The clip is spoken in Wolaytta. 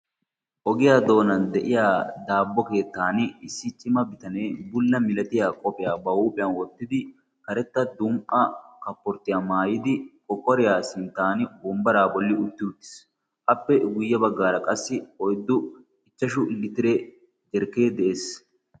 ogiyaa doonan de'iya daabbo keettan issi cima bitanee bulla milatiya qopphiyaa ba huuphiyan oottidi karetta dum"a kapporttiyaa maayidi kokoriyaa sinttan bombbaraa bolli utti uttiis appe guyye baggaara qassi oyddu ichchashu litire jerkkee de'ees.